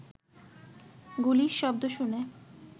গুলির শব্দ শুনে